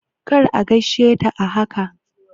Kar a gaishe ta a haka!